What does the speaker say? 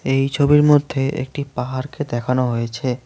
এই ছবির মধ্যে একটি পাহাড়কে দেখানো হয়েছে।